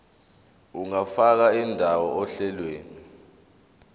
ungafaka indawo ohlelweni